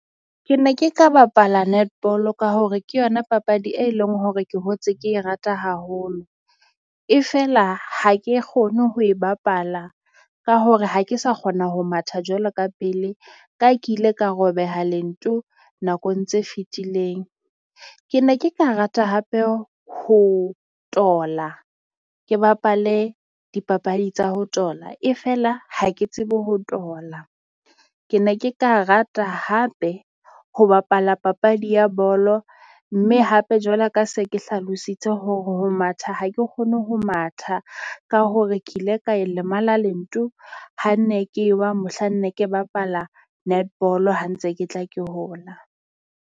Ke ne ke ka bapala netball ka hore ke yona papadi e leng hore ke hotse ke e rata haholo, e fela ha ke kgone ho e bapala ka hore ha ke sa kgona ho matha jwalo ka pele, ka ke ile ka robeha lento nakong tse fetileng. Ke ne ke ka rata hape ho tola ke bapale dipapadi tsa ho tola e fela, ha ke tsebe ho tola. Ke ne ke ka rata hape ho bapala papadi ya bolo mme hape jwalo ka se ke hlalositse hore ho matha ha ke kgone ho matha ka hore ke ile ka a lemala lento, ha nne ke wa mohlanne ke bapala netball ha ntse ke tla ke hola.